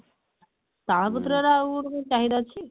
ତାଳ ପତ୍ର ର ଆଉ କଣ ଗୋଟେ ଚାହିଦା ଅଛି?